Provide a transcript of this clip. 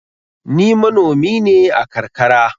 Ni manomi ne a karkara.